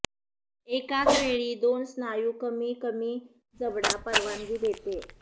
एकाच वेळी दोन स्नायू कमी कमी जबडा परवानगी देते